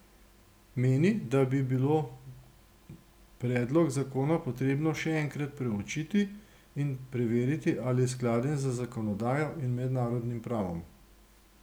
Meni, da bi bilo predlog zakona potrebno še enkrat preučiti in preveriti ali je skladen z zakonodajo in mednarodnim pravom.